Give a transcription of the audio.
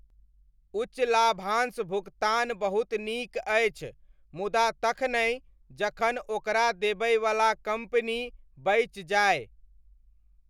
उच्च लाभांश भुगतान बहुत नीक अछि, मुदा तखनहि जखन ओकरा देबयवला कम्पनी बचि जाय।